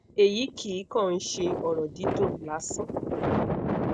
eyi kii kan n se oro didun lasan